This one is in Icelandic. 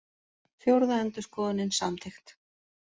Fjórða endurskoðunin samþykkt